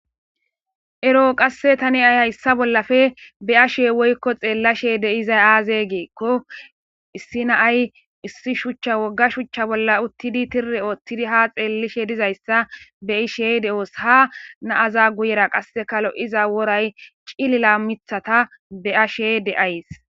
ero qasse tani hayi hayssa bollafe be'ashe woykko xeellashe deizay aaze giikko issi naay issi shuchcha wogga shuchcha bolla uttidi tirre oottidi ha xeellishe dizayssa be ishey de'oos ha naaza guyera qasse kalo iza woray cilila mithata be'ashe de'ays